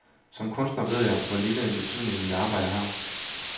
Som kunstner ved jeg, hvor lille en betydning mit arbejde har.